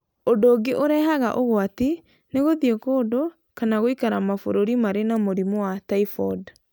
Ũndũ ũngĩ ũrehaga ũgwati nĩ gũthiĩ kũndũ kana gũikara mabũrũri marĩ na mũrimũ wa typhoid.